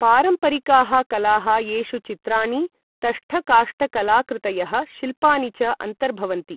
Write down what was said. पारम्परिकाः कलाः येषु चित्राणि, तष्ठकाष्ठकलाकृतयः, शिल्पानि च अन्तर्भवन्ति।